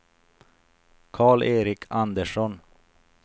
Karl-Erik Andersson